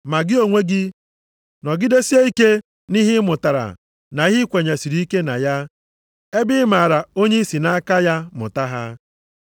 Ma gị onwe gị, nọgidesie ike nʼihe ịmụtara na ihe i kwenyesịrị ike na ya, ebe ị maara onye i si nʼaka ya mụta ha.